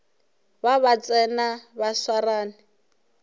ba ba tsena ba swarane